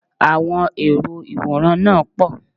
Àwọn èrò ìwòran náà pọ̀